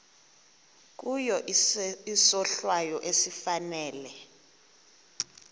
kuye isohlwayo esifanele